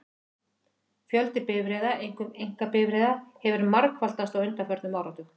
Fjöldi bifreiða, einkum einkabifreiða, hefur margfaldast á undanförnum áratug.